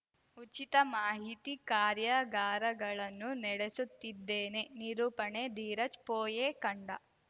ಉಚಿತ ಮಾಹಿತಿ ಕಾರ್ಯಾಗಾರಗಳನ್ನೂ ನಡೆಸುತ್ತಿದ್ದೇನೆ ನಿರೂಪಣೆ ಧೀರಜ್‌ ಪೊಯ್ಯೆಕಂಡ